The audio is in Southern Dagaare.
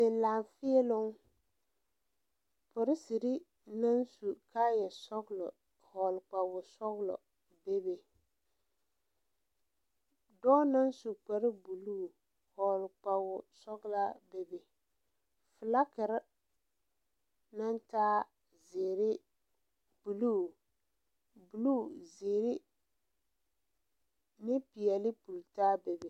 Laafēēloŋ poliserre naŋ su kaayɛ sɔglɔ vɔgle kpawosɔglɔ bebe dɔɔ naŋ su kparebluu vɔgle kpawosɔglaa bebe flakerre naŋ taa zeere, bluu, zeere ne peɛle pultaa bebe.